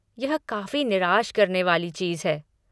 यह काफ़ी निराश करने वाली चीज़ है!